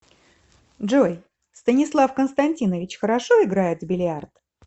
джой станислав константинович хорошо играет в бильярд